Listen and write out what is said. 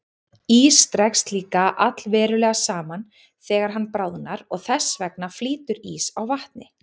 Ís dregst líka allverulega saman þegar hann bráðnar og þess vegna flýtur ís á vatni.